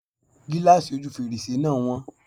Gíláàsì ojú fèrèsé náà wọ́n.